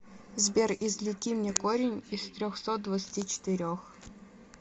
сбер извлеки мне корень из трехсот двадцати четырех